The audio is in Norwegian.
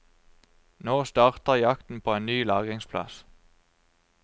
Nå starter jakten på en ny lagringsplass.